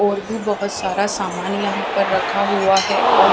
और भी बहुत सारा सामान यहाँ पर रखा हुआ है और --